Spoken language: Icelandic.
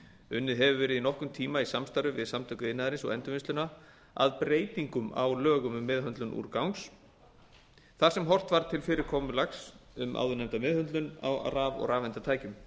unnið hefur verið í nokkurn tíma í samstarfi við samtök iðnaðarins og endurvinnsluna h f að breytingum á lögum um meðhöndlun úrgangs þar sem horft var til fyrirkomulags um áðurnefnda meðhöndlun á raf og rafeindatækjum